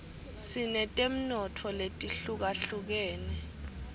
sinetemnotfo letihlukahlukenus